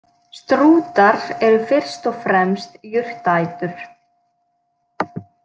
Strútar eru fyrst og fremst jurtaætur.